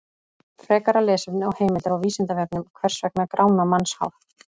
Frekara lesefni og heimildir á Vísindavefnum: Hvers vegna grána mannshár?